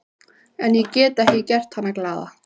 En ég get ekki gert hana glaða.